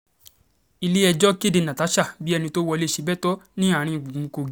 ilé-ẹjọ́ kéde natasha bíi ẹni tó wọlé sébétò àárín gbùngbùn kogi